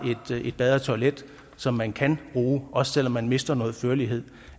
et bad og et toilet som man kan bruge også selv om man mister noget førlighed